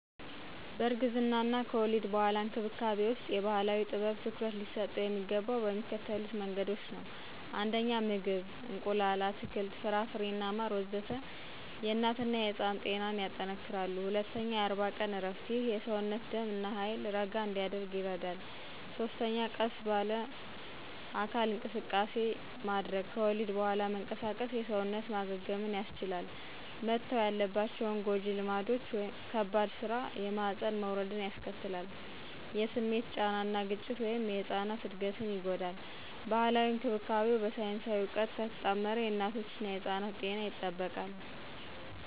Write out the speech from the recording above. እርግዝና እና ከወሊድ በኋላ እንክብካቤ ውስጥ የባህላዊ ጥበብ ትኩረት ሊሰጠው የሚገባው በሚከተሉት መንገዶች ነው 1. ምግብ – እንቁላል፣ አትክልት፣ ፍራፍሬና ማር ወዘተ... የእናትና የሕፃን ጤናን ያጠነክራሉ። 2. የ40 ቀን እረፍት – ይህ የሰውነት ደም እና ኃይል ረጋ እንዲያደርግ ይረዳል። 3. ቀስ ባለ አካል እንቅስቃሴ – ከወሊድ በኋላ መንቀሳቀስ የሰውነት ማገገምን ያስቻላል። መተው ያለባቸው ጎጂ ልማዶች - ከባድ ሥራ (የማህፀን መውረድን ያስከትላል) - የስሜት ጫና እና ግጭት (የሕጻን እድገትን ይጎዳል) ባህላዊ እንክብካቤው በሳይንሳዊ እውቀት ከተጣመረ የእናቶችና ሕጻናት ጤና ይጠበቃል።